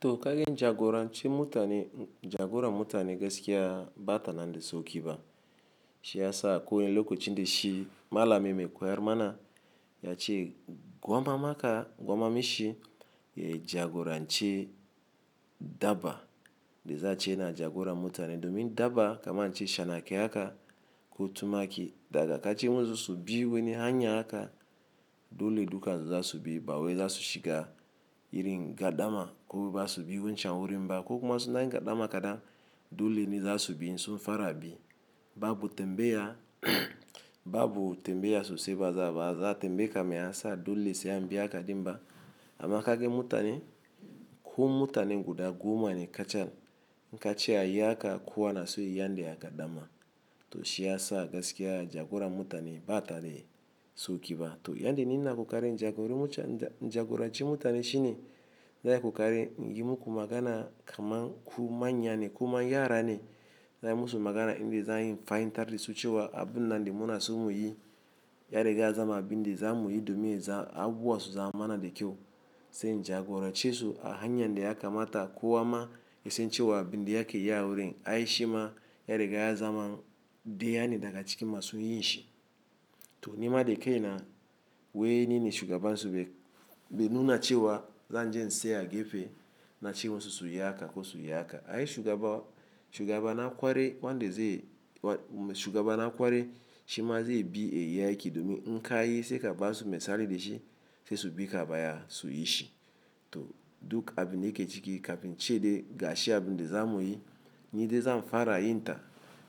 To ka gan jagorancin mutane, jagoran mutane gaskiya bata nan de sauki ba. Shi yasa akwai wani lokacin da shi malami me koyar mana ya ce gwama maka, gwama me shi ya jagora nce dabba de za ce na jagora mutane domi dabba kama n ince shanake haka ko tumaki daga kace musu su bi wani hanya haka dole duka zasubi bawai za su shiga irin gardama ko baza subi wancan wurin ba ko kuma suna yin kadan ma kadan dole ni zasubi insun fara bi. Ba bu tembe ya, ba bu tembe ya so se baza ba, za tembeyeka me yasa dole se ambiyaka dim ba. Ama kaga mutane, ko mutanen guda goma ne kacal, inka ce a yi aka kowa na so ya yi yanda ya ga dama. To shi yasa gaskiya jagoran mutane ba dadi saukiba. To yanda ni ina kokari in jagori muca--, in jagoranci mutane shi ne zan yi kokari in yi muku magana kaman ku manya ne kuma yara ne zan yi musu magana inde za ayi in fahimtardasu su cewa abunnan da muna so mu yi ya riga ya zama abinde zamu yi domin ya za-- abubuwa su zama mana de kyau. Sai in jagoran ce su a hanyan da yaka mata kowa ma yasan cewa abinda yake yi a wurin. Ai shima ya riga ya zama deya ne daga cikin masu yin shi. To nimade kai na wai nine shugabansu be, be nuna cewa zan je in seya a gefe na ce musu suyi haka ko su yi haka. Ai shugaba, shugaba na kwarai wande ze, shugaba na kwarai shima ze bi yayi aiki domin inka yi se kaba su misali da shi se su bi ka a baya su yi shi. To duk abun de yake ciki kafin ce dai ga shi abunde zamu yi, ni de zam fara yin ta.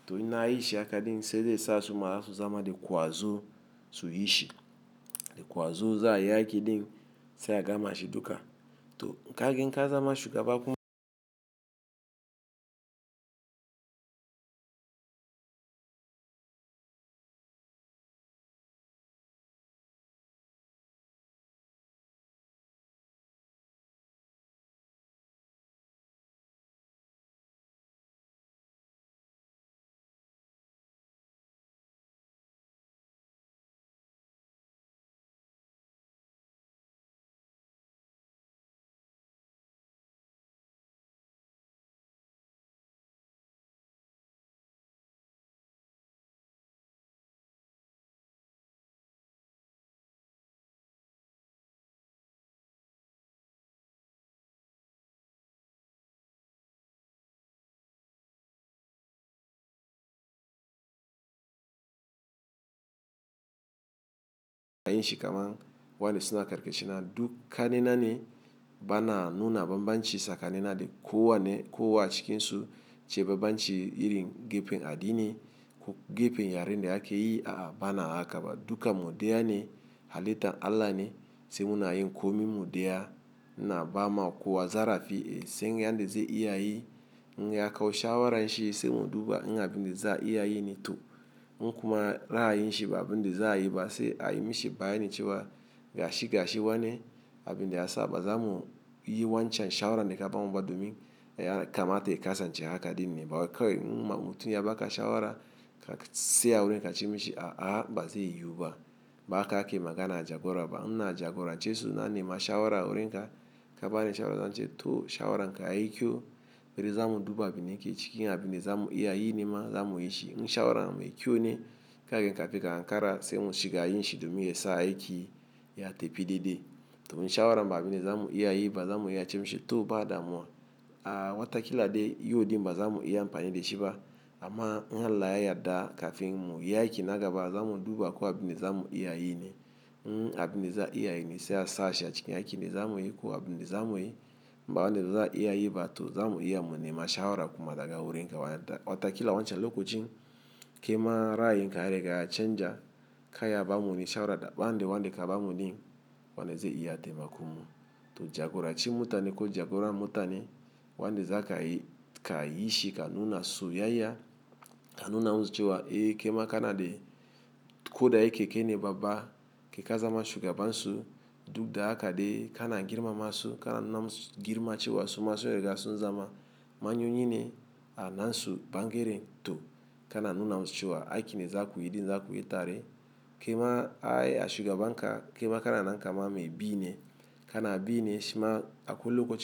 To inna yi shi haka din sai dai ya sa suma su zama de kwazo su yi shi. De kwazo za ayi aiki din se a gama shi duka. To kaga in ka zama shugaba kuma ayin shi kaman wande suna karka shina duk kannena ne bana nuna bambanci tsakanina de kowanne kowa a cikin su ce bambanci irin gefen addini ko gefen yaren da ake yi a'a bana haka ba. Dukan mu daya ne halittan Allah ne se muna yin komin mudeya ina ba ma kowa zarafi sai yanda ze iya yi. In ya kawo shawaran shi se mu duba in abinda za a iya yi ne to in kuma ra'ayin shi ba abin da za a yi ba se ayi mi shi bayani cewa ga shi ga shi wane abinda ya sa ba zamu yi yi wancan shawaran da kaba mu ba domin ya kamata ya kasan ce haka din ne ba wai. Kawai in ma mutum ya baka shawara zaka seya a wurin ka ce min shi a a ba ze yiyu ba. Ba haka ake magana a jagora ba. In ina jagoran ce su in na nema shawara a wurin ka kaba ni shawara zan ce to shawaran ka yayi kyau. Beri zamu duba abun de yake ciki in abinda zamu iya yi nema zamu yi shi. In shawara me kyau ne kagan kafin ka Ankara se mu shiga yin shi domin ya sa aiki ya tepide de. To in shawaran ba abinda zamu iya yi ba zamu iya ce mishi to ba damuwa. A watakila de yodin ba zamu iya ampani de shi ba. Amma in Allah ya yadda kafin mu yi aiki nagaba zamu duba ko abinde zamu iya yi ne. In abinde za a iya yi ne se a sashi a cikin aikin de zamu yi ko abinde zamu yi inba wande za a iya yi ba to zamu iya mu nema shawara kuma daga wurin ka. Wata-- watakila wancan loko cin, kai ma ra'ayin ka ya riga ya canja ka iya ba mu wani shawara da ban de wande kaba mu din wande ze iya taimakon mu. To jagorancin mutane ko jagoran mutane wande za ka yi ka yi shi ka nuna soyayya, ka nuna musu cewa e kai ma kana de koda yake kai ne babba kai ka zama shugabansu duk da haka dai kana girma masu kana nuna musu girma cewa su ma sun riga sun zama manyo yine a nasu bangaren to kana nuna musu cewa aikin de za ku yi din za ku yi tare. Kai ma ai a shugaban ka kai ma kana nan kaman me bi ne. Kana bi ne shima akwai loko cin.